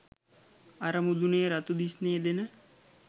අර මුදුනේ රතු දිස්නේ දෙන